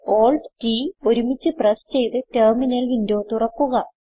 CtrlAltT ഒരുമിച്ച് press ചെയ്ത് terminal window തുറക്കുക